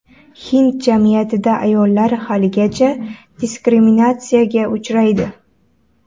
Hind jamiyatida ayollar haligacha diskriminatsiyaga uchraydi.